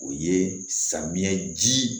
O ye samiyɛ ji